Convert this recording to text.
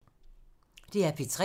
DR P3